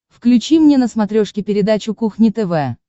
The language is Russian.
включи мне на смотрешке передачу кухня тв